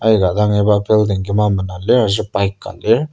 aika dang iba building kima mena lir aser bike ka lir.